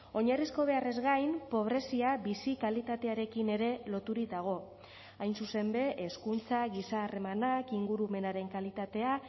oinarrizko beharrez gain pobrezia bizi kalitatearekin ere loturik dago hain zuzen ere hezkuntza giza harremanak ingurumenaren kalitatea